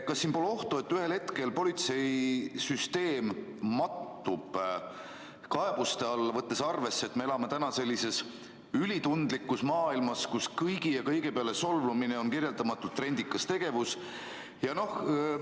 Kas siin pole ohtu, et ühel hetkel politsei mattub kaebuste alla, võttes arvesse, et me elame sellises ülitundlikus maailmas, kus kõigi ja kõige peale solvumine on kirjeldamatult trendikas tegevus?